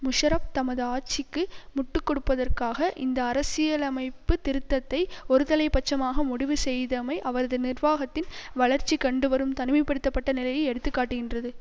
முஷரப் தமது ஆட்சிக்கு முட்டு கொடுப்பதற்காக இந்த அரசியலமைப்பு திருத்தத்தை ஒருதலை பட்சமாக முடிவு செய்தமை அவரது நிர்வாகத்தின் வளர்ச்சிகண்டுவரும் தனிமை படுத்த பட்ட நிலையை எடுத்து காட்டுகின்றது